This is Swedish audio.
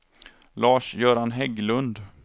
Lars-Göran Hägglund